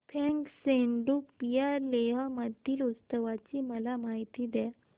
फ्यांग सेडुप या लेह मधील उत्सवाची मला माहिती द्या